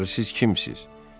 Axı siz kimsiniz?